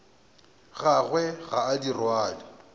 gagwe ga a di rwale